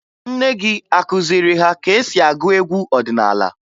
Nne gị akụziri ha ka e si agụ egwu ọdịnaala?